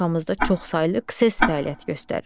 Respublikamızda çoxsaylı KS fəaliyyət göstərir.